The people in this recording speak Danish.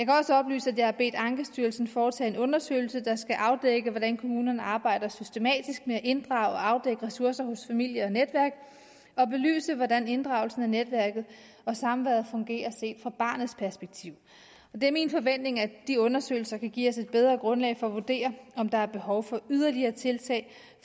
kan også oplyse at jeg har bedt ankestyrelsen foretage en undersøgelse der skal afdække hvordan kommunerne arbejder systematisk med at inddrage og afdække ressourcer hos familie og netværk og belyse hvordan inddragelsen af netværket og samværet fungerer set fra barnets perspektiv det er min forventning at de undersøgelser kan give os et bedre grundlag for at vurdere om der er behov for yderligere tiltag